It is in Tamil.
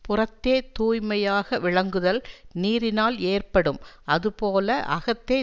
புறத்தே தூய்மையாக விளங்குதல் நீரினால் ஏற்ப்படும் அதுபோல அகத்தே